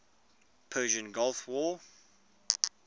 persian gulf war